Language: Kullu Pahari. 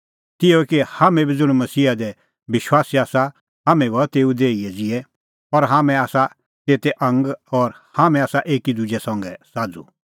तिहअ ई हाम्हैं बी ज़ुंण मसीहा दी विश्वासी आसा हाम्हैं बी हआ तेऊए देही ज़िहै और हाम्हैं आसा तेते आंग और हाम्हैं आसा एकी दुजै संघै साझ़ू